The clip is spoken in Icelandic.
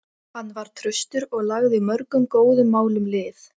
Hann var traustur og lagði mörgum góðum málum lið.